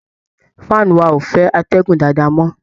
Fan wa ò fẹ́ atẹ́gùn dádáa mọ́